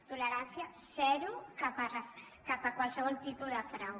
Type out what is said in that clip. tolerància zero cap a qualsevol tipus de frau